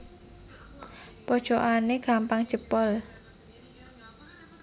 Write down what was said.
Pojokane gampang jebol